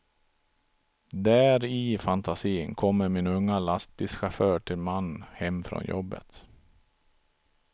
Där i fantasin kommer min unga lastbilschaufför till man hem från jobbet.